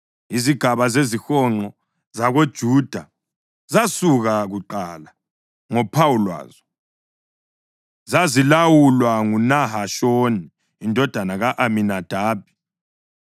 Izigaba zezihonqo zakoJuda zasuka kuqala, ngophawu lwazo. Zazilawulwa nguNahashoni indodana ka-Aminadabi.